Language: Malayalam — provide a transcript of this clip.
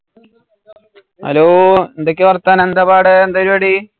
Hello എന്തൊക്കെയാ വർത്താനം? എന്താ പാട്? എന്താ പരിവാടി